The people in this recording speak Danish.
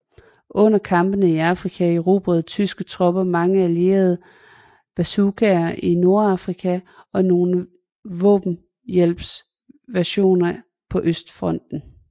Under kampene i Afrika erobrede tyske tropper mange allierede bazookaer i Nordafrika og nogle våbenhjælpsversioner på Østfronten